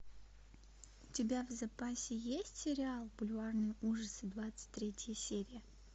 у тебя в запасе есть сериал бульварные ужасы двадцать третья серия